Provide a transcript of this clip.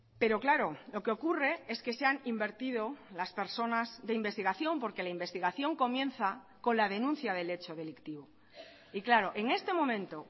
pero claro lo que ocurre es que se han invertido las personas de investigación porque la investigación comienza con la denuncia del hecho delictivo y claro en este momento